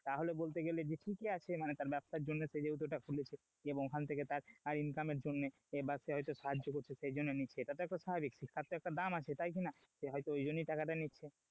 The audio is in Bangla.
তাহলে বলতে গেলে যে ঠিকই আছে মানে তার ব্যবসার জন্য সে যেহেতু সেটা খুলেছে এবং ওখান থেকে ওর টাকা income এর জন্য বা সে হতো সাহায্য করছে সেই জন্য নিচ্ছে, সেটা তো একটা স্বাভাবিক শিক্ষা তো একটা দাম আছে তাই কি না, সে হয়তো ওই জন্যই টাকা টা নিচ্ছে,